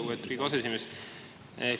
Lugupeetud Riigikogu aseesimees!